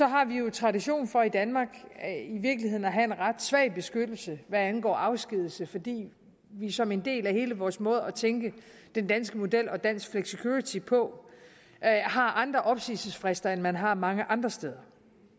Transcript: har vi jo tradition for i danmark i virkeligheden at have en ret svag beskyttelse hvad angår afskedigelser fordi vi som en del af hele vores måde at tænke den danske model og dansk flexicurity på har andre opsigelsesfrister end man har mange andre steder